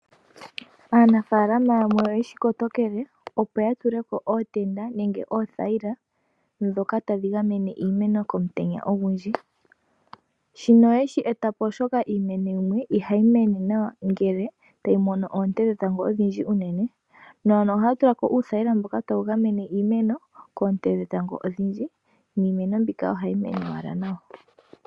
Aanafaalama yamwe oye shi kotokele opo ya tuleko ootenda nenge oothayila, dhoka tadhi gamene iimeno komutenya ogundji. Shino oye shi etapo oshoka iimeno yimwe ihayi mene nawa, ngele tayi mono oonte dhetango odhindji uunene. No ohaya tulapo uuthayila mboka tawu gamene iimeno koonte dhetango odhindji, niimeno mbika ohayi mene owala nawa.